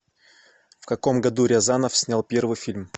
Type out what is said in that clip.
в каком году рязанов снял первый фильм